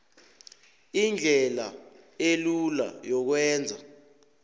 indlela elula yokwenza